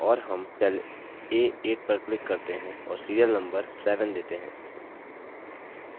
और हम cell a8 पर click करते हैं और serial number 7 देते हैं